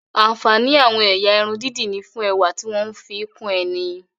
Ààǹfàní àwọn ẹ̀yà irun dídì ni fún ẹwà tí wọ́n ń fi kún ẹni